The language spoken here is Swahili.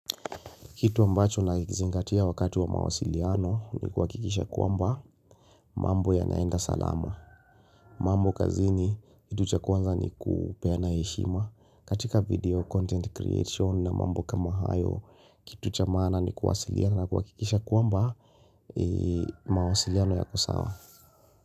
Kitu ambacho nakizingatia wakatu wa mawasiliano ni kuhakikisha kwamba mambo yanaenda salama. Mambo kazini kitu cha kwanza ni kupeana heshima. Katika video content creation na mambo kama hayo kitu cha maana ni kuwsiliana na kuhakikisha kwamba mawasiliano yako sawa.